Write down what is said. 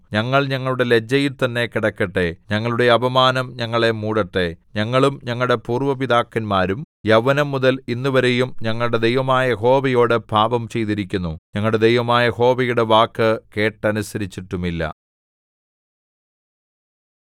ഞങ്ങൾ ഞങ്ങളുടെ ലജ്ജയിൽത്തന്നെ കിടക്കട്ടെ ഞങ്ങളുടെ അപമാനം ഞങ്ങളെ മൂടട്ടെ ഞങ്ങളും ഞങ്ങളുടെ പൂര്‍വ്വ പിതാക്കന്മാരും യൗവനംമുതൽ ഇന്നുവരെയും ഞങ്ങളുടെ ദൈവമായ യഹോവയോടു പാപം ചെയ്തിരിക്കുന്നു ഞങ്ങളുടെ ദൈവമായ യഹോവയുടെ വാക്ക് കേട്ടനുസരിച്ചിട്ടുമില്ല